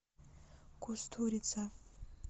кустурица